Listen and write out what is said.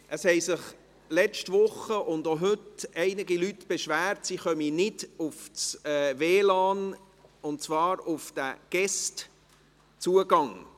Es haben sich letzte Woche und auch heute einige Leute beschwert, dass sie nicht ins WLAN kommen, und zwar über den «BEguest»-Zugang.